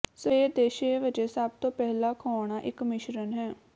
ਸਵੇਰ ਦੇ ਛੇ ਵਜੇ ਸਭ ਤੋਂ ਪਹਿਲਾਂ ਖੁਆਉਣਾ ਇੱਕ ਮਿਸ਼ਰਣ ਹੈ